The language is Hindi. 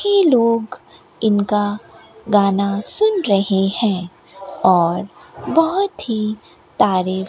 ये लोग इनका गाना सुन रहे है और बहोत ही तारीफ --